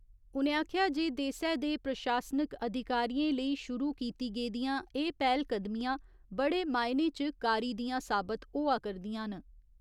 उ'नें आखेआ जे देसै दे प्रशासनिक अधिकारिएं लेई शुरु कीती गेदियां एह् पैह्‌लकदमियां बड़े मायने च कारी दिआं साबत होआ करदियां न।